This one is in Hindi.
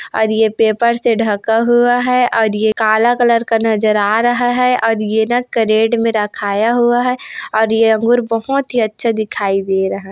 मेरे आंखो के सामने मे बहोतं ही सुंदर ये एक अंगूर रखाया हुआ है बहोतं ही अच्छा दिख रहा है।